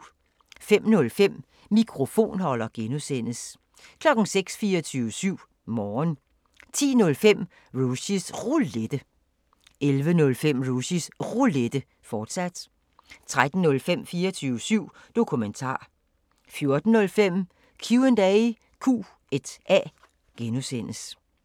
05:05: Mikrofonholder (G) 06:00: 24syv Morgen 10:05: Rushys Roulette 11:05: Rushys Roulette, fortsat 13:05: 24syv Dokumentar 14:05: Q&A (G)